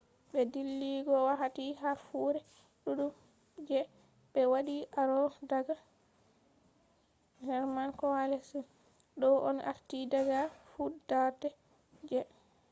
be dilligo wakkati harfure dudum je be wadi aro daga german coalesced. do on arti daga fudarde je enlightenment